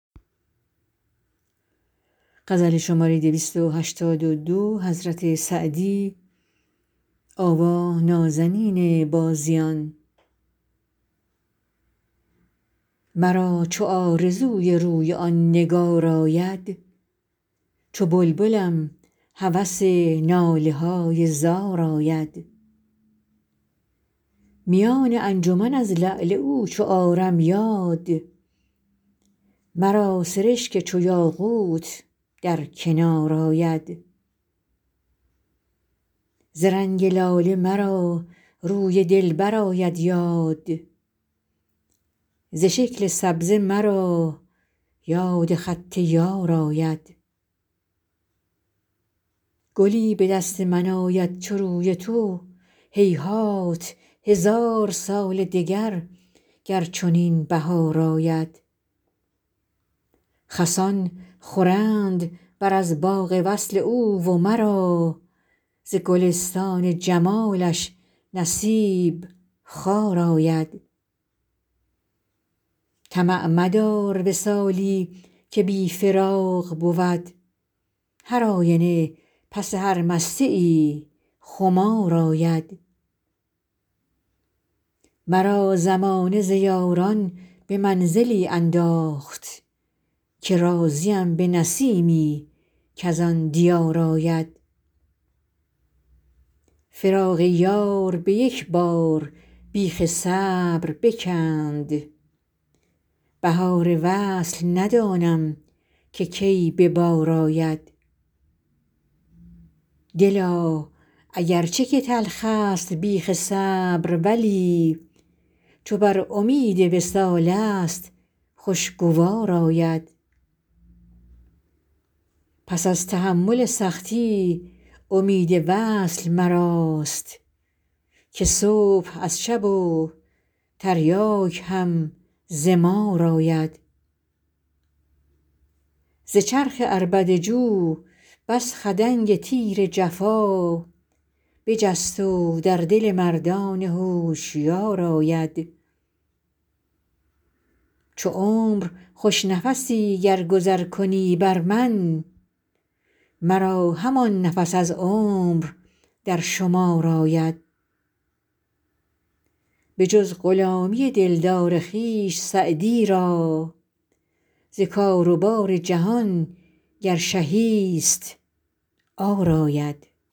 مرا چو آرزوی روی آن نگار آید چو بلبلم هوس ناله های زار آید میان انجمن از لعل او چو آرم یاد مرا سرشک چو یاقوت در کنار آید ز رنگ لاله مرا روی دلبر آید یاد ز شکل سبزه مرا یاد خط یار آید گلی به دست من آید چو روی تو هیهات هزار سال دگر گر چنین بهار آید خسان خورند بر از باغ وصل او و مرا ز گلستان جمالش نصیب خار آید طمع مدار وصالی که بی فراق بود هرآینه پس هر مستیی خمار آید مرا زمانه ز یاران به منزلی انداخت که راضیم به نسیمی کز آن دیار آید فراق یار به یک بار بیخ صبر بکند بهار وصل ندانم که کی به بار آید دلا اگر چه که تلخست بیخ صبر ولی چو بر امید وصالست خوشگوار آید پس از تحمل سختی امید وصل مراست که صبح از شب و تریاک هم ز مار آید ز چرخ عربده جو بس خدنگ تیر جفا بجست و در دل مردان هوشیار آید چو عمر خوش نفسی گر گذر کنی بر من مرا همان نفس از عمر در شمار آید بجز غلامی دلدار خویش سعدی را ز کار و بار جهان گر شهی ست عار آید